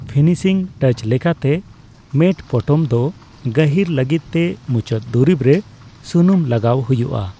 Finishing touch ᱞᱮᱠᱟᱛᱮ, matte ᱯᱚᱴᱚᱢᱫᱚ ᱜᱟᱹᱦᱤᱨ ᱞᱟᱹᱜᱤᱫᱛᱮ ᱢᱩᱪᱟᱹᱫ ᱫᱩᱨᱤᱵᱽ ᱨᱮ ᱥᱩᱱᱩᱢ ᱞᱟᱜᱟᱣ ᱦᱩᱭᱩᱜᱼᱟ ᱾